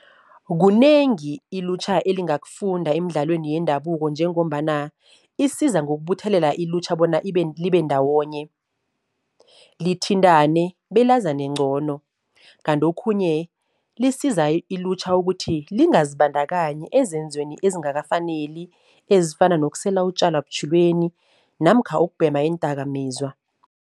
Kunengi ilutjha elingakufunda emidlalweni yendabuko njengombana isiza ngokubuthelela ilutjha bona libe ndawonye, lithintane, belazane ncono. Kanti okhunye lisiza ilutjha ukuthi lingazibandakanyi ezenzweni ezingakafaneli, ezifana nokusela utjalwa butjhilweni namkha ukubhema iindakamizwa.